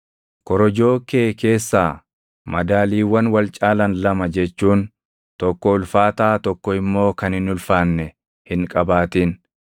Korojoo kee keessaa madaaliiwwan wal caalan lama jechuun tokko ulfaataa tokko immoo kan hin ulfaanne hin qabaatin.